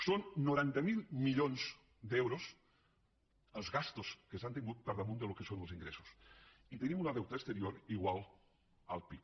són noranta miler milions d’euros les despeses que s’han tingut per damunt del que són els ingressos i tenim un deute exterior igual al pib